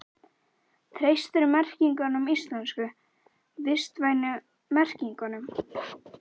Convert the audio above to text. Linda: Treystirðu merkingunum íslensku, vistvænu merkingunum?